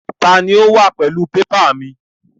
Ta ni ó wà pẹ̀lú pépà mi?